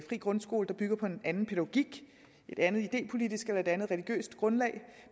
grundskole der bygger på en anden pædagogik et andet idépolitisk eller et andet religiøst grundlag